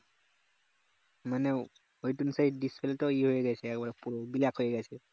মানে ঐদিনসেই display টো ইয়ে হয়ে গেছে একবারে পুরো black হয়ে গেছে